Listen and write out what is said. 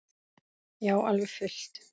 Já, alveg fullt.